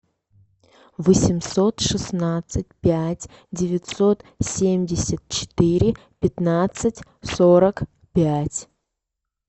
восемьсот шестнадцать пять девятьсот семьдесят четыре пятнадцать сорок пять